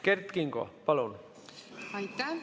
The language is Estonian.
Kert Kingo, palun!